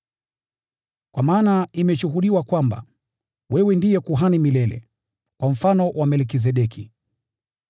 Kwa maana imeshuhudiwa kwamba: “Wewe ni kuhani milele, kwa mfano wa Melkizedeki.”